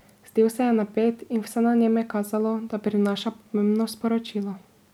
Zdel se je napet in vse na njem je kazalo, da prinaša pomembno sporočilo.